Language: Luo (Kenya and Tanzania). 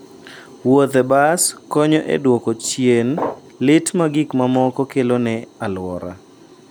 Wuoth e bas konyo e duoko chien lit ma gik mamoko kelo ne alwora.